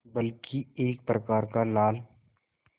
बल्कि एक प्रकार का लाल